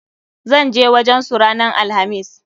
ZAn je wajen su ranan alhamis.